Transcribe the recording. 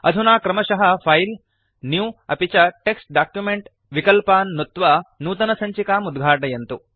अधुना क्रमशः file new अपि च टेक्स्ट् डॉक्युमेंट विकल्पान् नुत्त्वा नूतनसञ्चिकाम् उद्घाटयन्तु